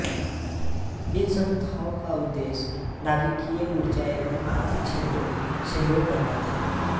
इन संस्थाओं का उद्देश्य नाभीकिय उर्जा एवं आर्थिक क्षेत्र में सहयोग करना था